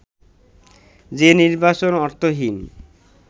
যে নির্বাচন অর্থহীন